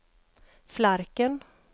Flarken